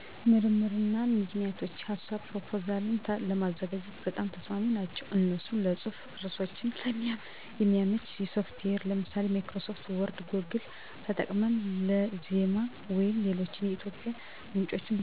ስልክና ላፕቶፕ ለኢንተርኔት፣ ለፅህፈትና ሪሰርችና ፕሮፖዛል ለመስራት አጠቀማለሁ